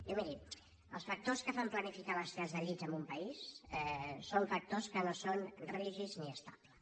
diu miri els factors que fan planificar les necessitats de llits en un país són factors que no són rígids ni estables